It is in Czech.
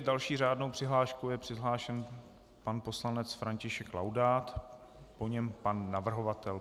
S další řádnou přihláškou je přihlášen pan poslanec František Laudát, po něm pan navrhovatel.